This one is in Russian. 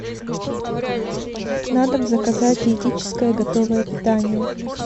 на дом заказать диетическое готовое питание